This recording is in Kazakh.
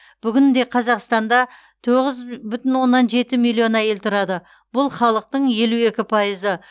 бүгінде қазақстанда тоғыз бү бүтін оннан жеті миллион әйел тұрады бұл халықтың елу екі пайызы